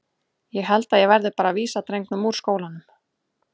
Ég held að ég verði bara að vísa drengnum úr skólanum.